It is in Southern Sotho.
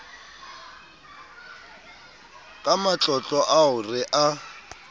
ka matlotlo ao re a